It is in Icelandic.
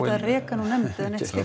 að reka hann úr nefnd eða neitt slíkt